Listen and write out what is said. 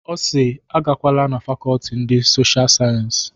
Ọ si "Agakwala na Fakọlti ndị Sosha Sayensi.